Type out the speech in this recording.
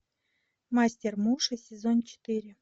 мастер муши сезон четыре